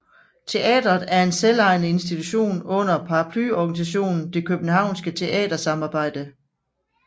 Teatret er en selvejende institution under paraplyorganisationen Det københavnske teatersamarbejde